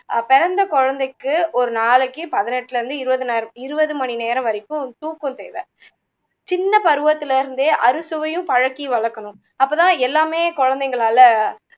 பிறந்த குழந்தைக்குஒரு நாளைக்கு பதினெட்டுல இருந்து இருவதுனாயிரம் இருவது மணி நேரம் வரைக்கும் தூக்கம் தேவை சின்ன பருவத்துல இருந்தே அறுசுவையும் பழக்கி வளக்கணும் அப்போ தான் எல்லாமே குழந்தைங்களால